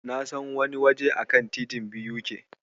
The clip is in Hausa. Na san wani waje a kan titin BUK.